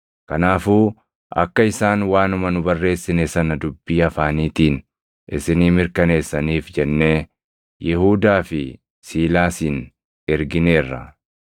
Kanaafuu akka isaan waanuma nu barreessine sana dubbii afaaniitiin isinii mirkaneessaniif jennee Yihuudaa fi Siilaasin ergineerra.